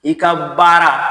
I ka baara